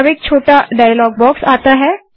अब एक छोटा डायलॉग बाक्स आता है